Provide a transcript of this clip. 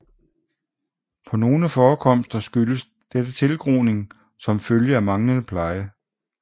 På nogle forekomster skyldes dette tilgroning som følge af manglende pleje